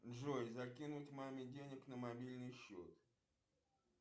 джой закинуть маме денег на мобильный счет